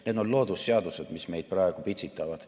Need on loodusseadused, mis meid praegu pitsitavad.